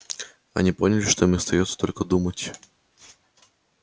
они поняли что им остаётся только думать